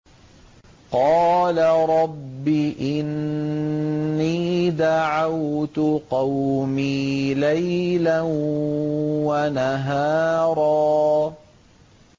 قَالَ رَبِّ إِنِّي دَعَوْتُ قَوْمِي لَيْلًا وَنَهَارًا